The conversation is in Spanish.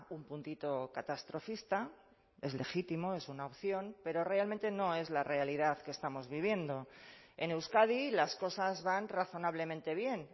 un puntito catastrofista es legítimo es una opción pero realmente no es la realidad que estamos viviendo en euskadi las cosas van razonablemente bien